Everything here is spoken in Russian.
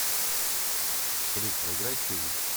салют проиграй чилл